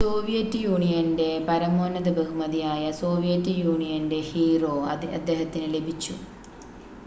"Soviet യൂണിയന്റെ പരമോന്നത ബഹുമതിയായ "സോവിയറ്റ് യൂണിയന്റെ ഹീറോ" അദ്ദേഹത്തിന് ലഭിച്ചു.